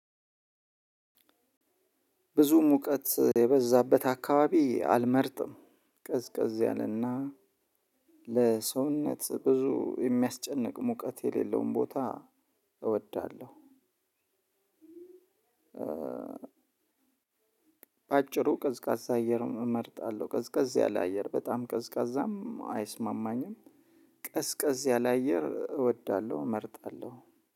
ብዙ ሙቀት የበዛበት አካባቢ አልመርጥም ቀዝቀዝ ያለና ለሰውነት ብዙ የሚያስጨንቅ ሙቀት የሌለውን ቦታ እወዳለሁ። በአጭሩ ቀዝቃዛ አየር እመርጣለሁ ቀዝቀዝ ያለ አየር በጣም ቀዝቃዛም አይስማማኝም። ቀዝቀዝ ያለ አየር እወዳለሁ እመርጣለሁ